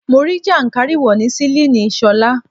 Mo rí jàǹkárìwò ní sílíìnì Ṣọlá.